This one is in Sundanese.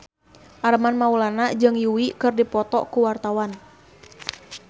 Armand Maulana jeung Yui keur dipoto ku wartawan